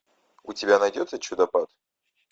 у тебя найдется чудопад